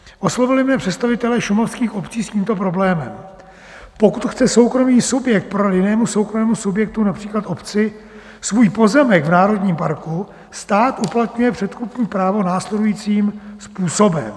Oslovili mě představitelé šumavských obcí s tímto problémem: pokud chce soukromý subjekt prodat jinému soukromému subjektu, například obci, svůj pozemek v národním parku, stát uplatňuje předkupní právo následujícím způsobem.